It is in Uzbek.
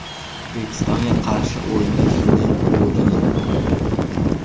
O‘zbekistonga qarshi o‘yinda shunday bo‘ldimi?